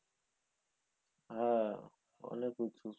হ্যাঁ অনেক উঁচু।